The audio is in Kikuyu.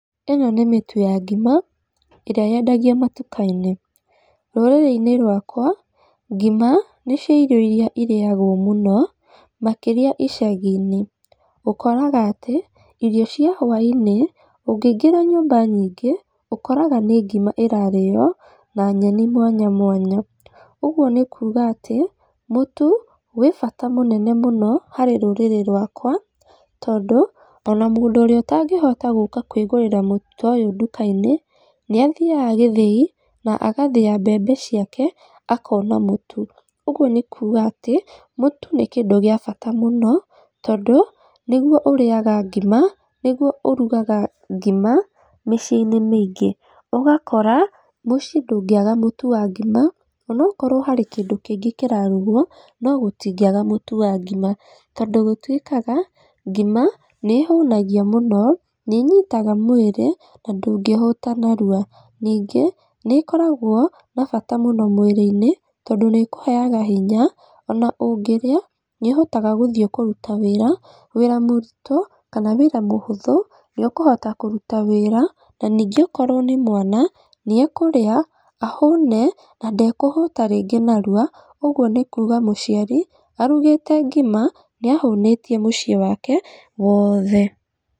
Ĩno nĩ mĩtu ya ngima ĩrĩa yendagio matuka-inĩ, rũrĩrĩ-inĩ rwakwa, ngima nĩ cio irio iria irĩagwo mũno makĩria icagi-inĩ, ũkoraga atĩ irio cia hwa-inĩ ũngĩingĩra nyũmba nyingĩ, ũkoraga nĩ ngima ĩrarĩo na nyeni mwanya mwanya. Ũguo nĩ kuuga atĩ, mũtu wĩ bata mũnene mũno harĩ rũrĩrĩ rwakwa, tondũ ona mũndũ ũrĩa ũtangĩhota kwĩgũrĩra mũtu ta ũyũ nduka-inĩ, nĩ athiaga gĩthĩi, na agathĩa mbembe ciake akona mũtu. Ũguo nĩ kuuga atĩ mũtu nĩ kĩndũ gĩa bata mũno tondũ nĩguo ũrĩaga ngima, nĩguo ũrugaga ngima mĩciĩ-inĩ mĩingĩ. Ũgakora mũciĩ ndũngĩaga mũtu wa ngima, inakorwo harĩ kĩndũ kĩngĩ kĩrarugwo no gũtingiaga mũtu wa ngima. Tondũ gũtuĩkaga, ngima nĩ ĩhũnagia mũno, nĩ ĩnyitaga mwĩrĩ, na ndũngĩhũta narua. Ningĩ nĩ ĩkoragwo na bata mũno mwĩrĩ-inĩ, tondũ nĩ ĩkũheaga hinya, ona ũngĩrĩa nĩ ũhotaga gũthiĩ kũruta wĩra, wĩra mũritũ kana wĩra mũhũthũ nĩ ũkũhota kũruta wĩra. Na ningĩ okorwo nĩ mwana, nĩ ekũrĩa ahũne, na ndekũhũta rĩngĩ narua, ũguo nĩ kuuga mũciari arugĩte ngima nĩ ahũnĩtie mũciĩ wake woothe.